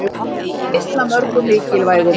Bara einn af mörgum mikilvægum